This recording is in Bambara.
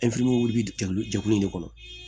bi jɛkulu jɛkulu in de kɔnɔ